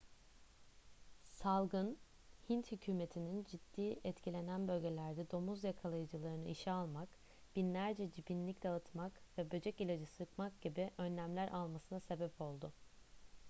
salgın hint hükümetininin ciddi etkilenen bölgelerde domuz yakalayıcılarını işe almak binlerce cibinlik dağıtmak ve böcek ilacı sıkmak gibi önlemler almasına sebep oldu